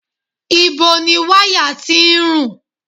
Ìbo ni wáyà tí ń rùn?